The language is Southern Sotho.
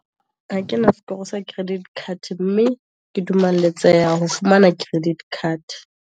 Ha kena sekoro sa credit card, mme ke dumeletseha ho fumana credit card.